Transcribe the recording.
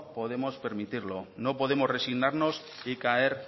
podemos permitirlo no podemos resignarnos y caer